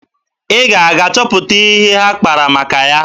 Ị ga-aga chọpụta ihe ha kpara maka ya?